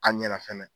A ɲɛna fɛnɛ